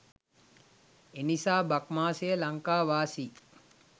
එනිසා බක් මාසය ලංකාවාසී